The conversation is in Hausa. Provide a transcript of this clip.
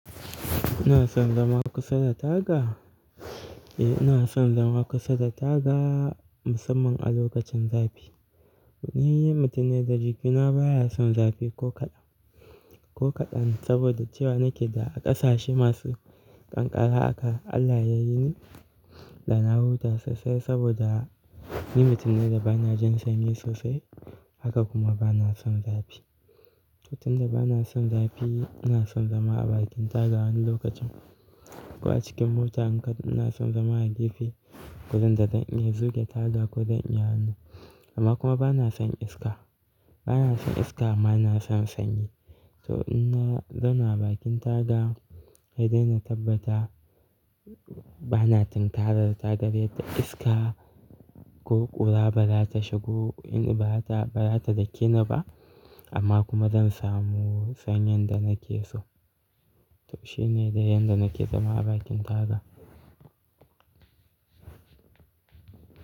Ina son zama kusa da taga? Eh ina son zama kusa da taga musamman a lokacin zafi. Ni mutum ne da jikina baya son zafi ko kaɗan, ko kaɗan sabida cewa nake da ƙasashe masu ƙanƙara aka. Allah yayi ni, da na huta sosai sabida ni mutum ne da bana jin sanyi sosai haka kuma bana son zafi. Tunda bana son zafi ina son zama a bakin taga wani lokacin ko a cikin mota ina son zama a gefe gurin da zan iya zuga taga ko zan iya hannu. Amma kuma bana son iska, bana son iska amma ina son sanyi. To in na zauna a bakin taga sai dai na tabbata bana tunkarar ta taga yanda iska ko ƙura ba za ta shigo in ba ta, ba za ta dake ni ba amma kuma zan samu sanyin da nake so. To shine yanda nake zama a bakin taga.